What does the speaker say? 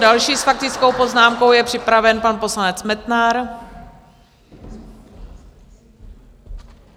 Další s faktickou poznámkou je připraven pan poslanec Metnar.